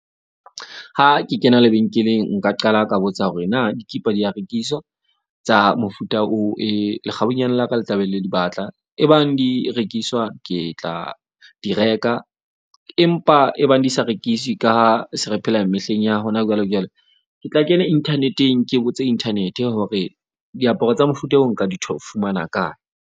Ha ke kena lebenkeleng, nka qala ka botsa hore na dikipa di ya rekiswa tsa mofuta oo e lekgabunyane la ka le tla be le di batla. E bang di rekiswa, ke tla di reka empa e bang di sa rekiswe. Ka se re phela mehleng ya hona jwale jwale. Ke tla kena internet-eng ke botse internet-e hore diaparo tsa mofuta oo nka o fumana kae?